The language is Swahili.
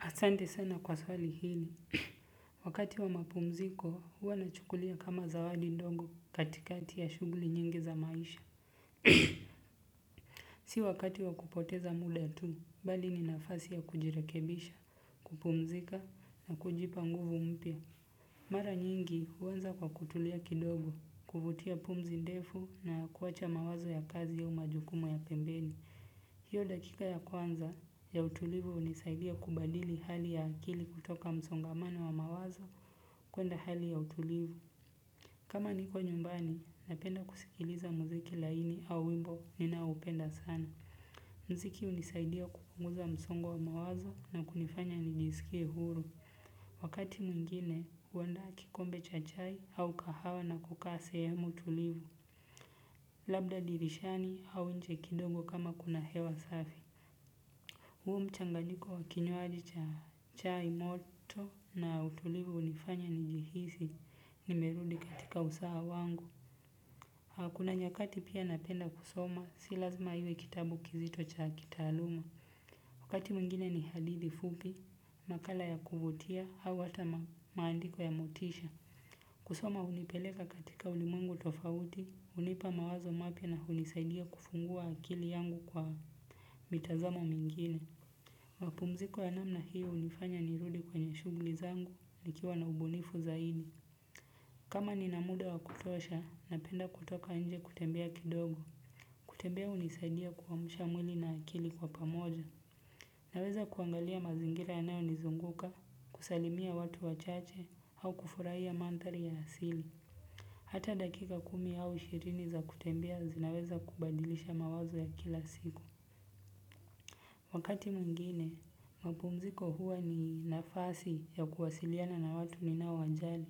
Asante sana kwa swali hili. Wakati wa mapumziko, huwa nachukulia kama zawadi ndogo katikati ya shuguli nyingi za maisha. Si wakati wa kupoteza muda tu, bali ni nafasi ya kujirekebisha, kupumzika na kujipa nguvu mpya. Mara nyingi huanza kwa kutulia kidogo, kuvutia pumzi ndefu na kuacha mawazo ya kazi au majukumu ya pembeni. Hiyo dakika ya kwanza ya utulivu hunisaidia kubadili hali ya akili kutoka msongamano wa mawazo kwenda hali ya utulivu. Kama niko nyumbani, napenda kusikiliza muziki laini au wimbo ninaoupenda sana. Mziki hunisaidia kupunguza msongo wa mawazo na kunifanya nijisikie huru. Wakati mwingine, huandaa kikombe cha chai au kahawa na kukaa sehemu tulivu. Labda dirishani au nje kidogo kama kuna hewa safi. Huo mchanganyiko wa kinywaji cha chai moto na utulivu hunifanya nijihisi nimerudi katika usawa wangu. Kuna nyakati pia napenda kusoma, si lazima iwe kitabu kizito cha kitaaluma. Wakati mwingine ni hadithi fupi, makala ya kuvutia, au hata maandiko ya motisha. Kusoma hunipeleka katika ulimwengu tofauti, hunipa mawazo mapya na hunisaidia kufungua akili yangu kwa mitazamo mingine. Mapumziko ya namna hiyo hunifanya nirudi kwenye shughuli zangu nikiwa na ubunifu zaidi. Kama ninamuda wakutosha, napenda kutoka nje kutembea kidogo. Kutembea hunisaidia kuamsha mwili na akili kwa pamoja. Naweza kuangalia mazingira yanayonizunguka, kusalimia watu wachache au kufurahia mandhari ya asili. Hata dakika kumi au ishirini za kutembea zinaweza kubadilisha mawazo ya kila siku. Wakati mwingine, mapumziko huwa ni nafasi ya kuwasiliana na watu ninaowajali.